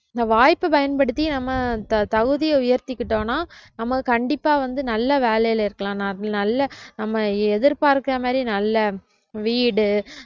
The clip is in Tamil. இந்த வாய்ப்பை பயன்படுத்தி நம்ம த~ தகுதியை உயர்த்திக்கிட்டோம்னா நம்ம கண்டிப்பா வந்து நல்ல வேலையில இருக்கலாம் நல்ல நம்ம எதிர்பார்க்கிற மாதிரி நல்ல வீடு